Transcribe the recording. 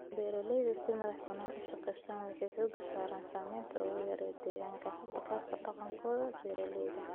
Beeralayda si madax banaan u shaqeeya waxay xooga saaraan saamaynta ugu yar ee deegaanka ee hab dhaqankooda beeralayda.